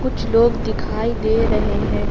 कुछ लोग दिखाई दे रहे हैं।